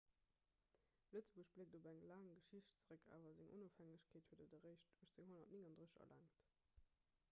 lëtzebuerg bléckt op eng laang geschicht zeréck awer seng onofhängegkeet huet et eréischt 1839 erlaangt